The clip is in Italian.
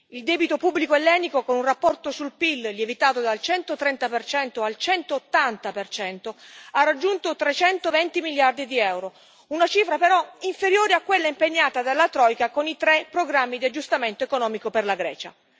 Il debito pubblico ellenico, con un rapporto sul PIL lievitato dal 130 al 180 ha raggiunto 320 miliardi di EUR, una cifra però inferiore a quella impegnata dalla troika con i tre programmi di aggiustamento economico per la Grecia.